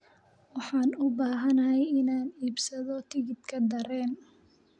Waxaan u baahanahay inaan iibsado tigidh tareen